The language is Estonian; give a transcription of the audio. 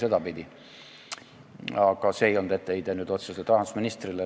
See ei olnud nüüd otseselt etteheide rahandusministrile.